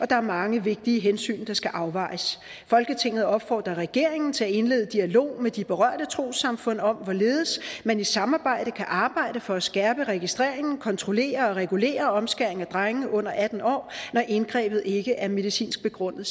der er mange vigtige hensyn der skal afvejes folketinget opfordrer regeringen til at indlede dialog med de berørte trossamfund om hvorledes man i samarbejde kan arbejde for at skærpe registreringen kontrollere og regulere omskæring af drenge under atten år når indgrebet ikke er medicinsk begrundet